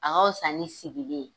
A ka wusa ni sigili ye.